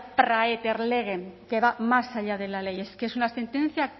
que va más allá de la ley es que es una sentencia